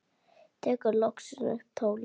Tekur loksins upp tólið.